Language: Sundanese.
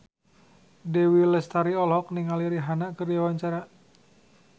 Dewi Lestari olohok ningali Rihanna keur diwawancara